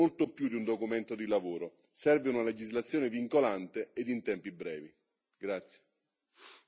Per un settore così complesso serve molto più di un documento di lavoro, serve una legislazione vincolante e in tempi brevi.